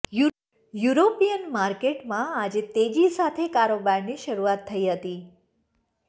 European માર્કેટમાં આજે તેજી સાથે કારોબારની શરૂઆત થઇ હતી